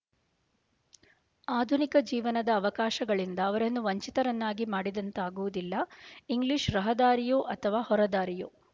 ಆಧುನಿಕ ಜೀವನದ ಅವಕಾಶಗಳಿಂದ ಅವರನ್ನು ವಂಚಿತರನ್ನಾಗಿ ಮಾಡಿದಂತಾಗುವುದಿಲ್ಲ ಇಂಗ್ಲೀಷ್ ರಹದಾರಿಯೋ ಅಥವಾ ಹೊರದಾರಿಯೋ